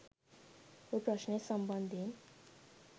ඔය ප්‍රශ්නය සම්බන්ධයෙන්